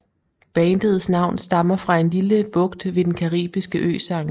Bandets navn stammer fra en lille bugt ved den caribiske ø St